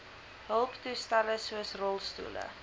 hulptoestelle soos rolstoele